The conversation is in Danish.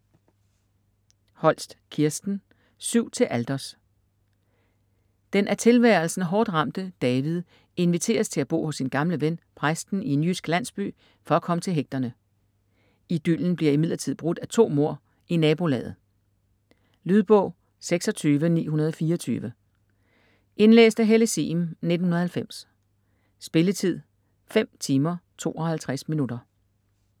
Holst, Kirsten: Syv til alters Den af tilværelsen hårdt ramte David inviteres til at bo hos sin gamle ven, præsten i en jysk landsby, for at komme til hægterne. Idyllen bliver imidlertid brudt af to mord i nabolaget. Lydbog 26924 Indlæst af Helle Sihm, 1990. Spilletid: 5 timer, 52 minutter.